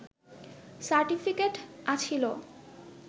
certificate আছিলো